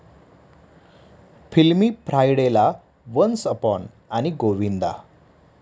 फिल्मी फ्रायडे'ला, 'once upon' आणि 'गोविंदा'